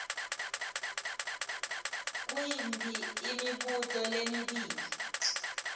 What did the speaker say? nguyiphi imibuto lemibili